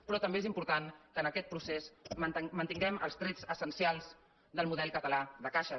però també és important que en aquest procés mantin·guem els trets essencials del model català de caixes